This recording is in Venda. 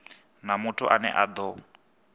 na muthu ane a do